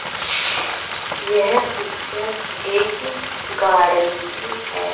यह पिक्चर एक गार्डन की है।